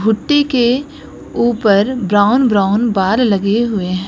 भुट्टे के ऊपर ब्राउन ब्राउन बाल लगे हुए हैं।